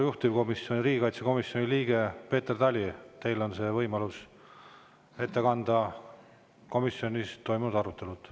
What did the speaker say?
Juhtivkomisjoni, riigikaitsekomisjoni liige Peeter Tali, teil on võimalus ette kanda komisjonis toimunud arutelud.